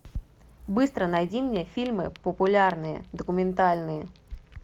быстро найди мне фильмы популярные документальные